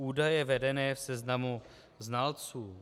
Údaje vedené v seznamu znalců.